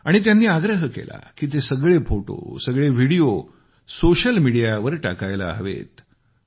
आणि त्यांनी आग्रह केला की ते सगळे फोटो सगळे व्हिडीओ सोशल मिडीयावर टाकायला हवेत